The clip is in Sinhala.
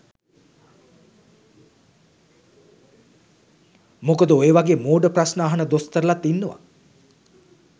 මොකද ඔය වගෙ මොඩ ප්‍රස්න අහන දොස්තරලත් ඉන්නව